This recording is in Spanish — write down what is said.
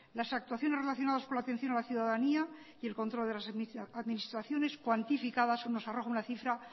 las actuaciones relacionadas con la atención a la ciudadanía y el control de las administraciones cuantificadas nos arroja una cifra